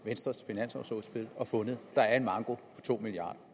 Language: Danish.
venstres finanslovudspil og fundet at der er en manko på to milliard